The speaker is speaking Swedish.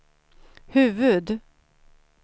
huvud